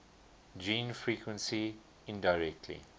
gene frequency indirectly